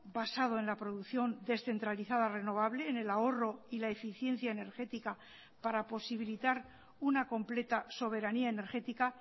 basado en la producción descentralizada renovable en el ahorro y la eficiencia energética para posibilitar una completa soberanía energética